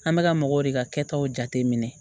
An bɛka mɔgɔw de ka kɛtaw jate minɛ